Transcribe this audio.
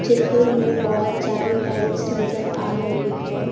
चित्र में बहुत सारी टाइल्स नजर आ रही है।